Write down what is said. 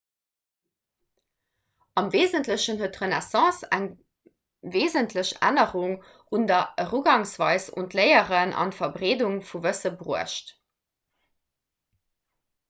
am weesentlechen huet d'renaissance eng weesentlech ännerung an der erugangsweis un d'léieren an d'verbreedung vu wësse bruecht